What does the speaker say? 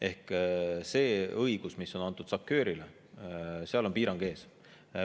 Ehk sellel õigusel, mis on SACEUR-ile antud, on piirang ees.